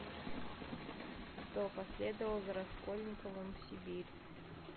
кто последовал за раскольниковым в сибирь